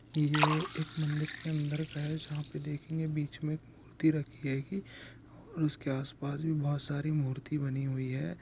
ये एक मंदिर के अंदर का है। जहा पे देखेंगे बीच मे मूर्ति रखी हे गी और उस के आस पास बहुत सारी मूर्ति बनी हुई है।